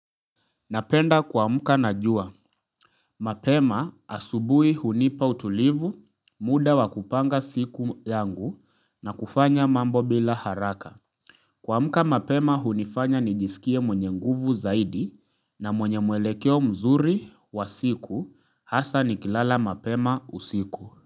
Napenda kuamka na jua. Mapema asubuhi hunipa utulivu, muda wa kupanga siku yangu na kufanya mambo bila haraka. Kuamka mapema hunifanya nijisikie mwenye nguvu zaidi na mwenye muelekeo mzuri wa siku hasa ni kilala mapema usiku.